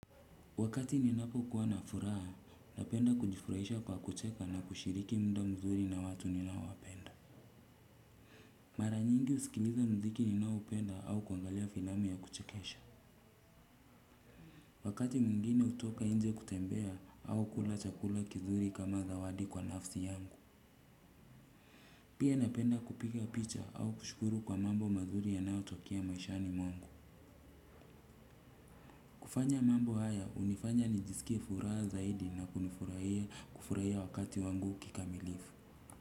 Wakati ninapo kuwa na furaha, napenda kujifurahisha kwa kucheka na kushiriki muda mzuri na watu ninaowapenda. Mara nyingi husikiliza mziki ninao upenda au kuangalia filamu ya kuchekesha. Wakati mwingine hutoka inje kutembea au kula chakula kizuri kama zawadi kwa nafsi yangu. Pia napenda kupiga picha au kushukuru kwa mambo mazuri yanayotokea maishani mwangu. Kufanya mambo haya hunifanya nijisikie furaha zaidi na kunifurahia, kufurahia wakati wangu kikamilifu.